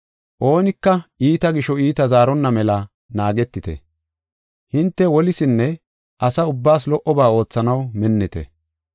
Oonika iita gisho iita zaaronna mela naagetite. Hinte wolisinne asa ubbaas lo77oba oothanaw minnite.